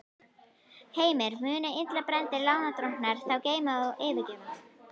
Heimir: Munu illa brenndir lánadrottnar þá gleyma og fyrirgefa?